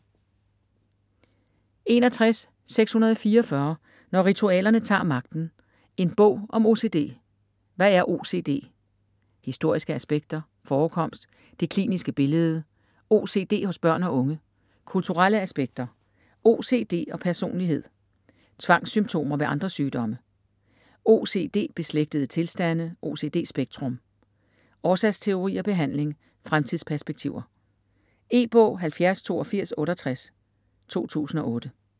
61.644 Når ritualerne tager magten: en bog om OCD Hvad er OCD?; Historiske aspekter; Forekomst; Det kliniske billede; OCD hos børn og unge; Kulturelle aspekter; OCD og personlighed; Tvangssymptomer ved andre sygdomme; OCD-beslægtede tilstande ("OCD-spektrum"); Årsagsteorier; Behandling; Fremtidsperspektiver. E-bog 708268 2008.